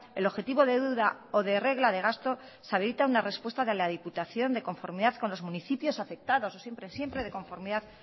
el objetivo de deuda o de regla de gasto se habilita una respuesta de la diputación de conformidad con los municipios afectados siempre de conformidad